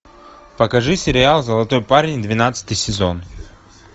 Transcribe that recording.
покажи сериал золотой парень двенадцатый сезон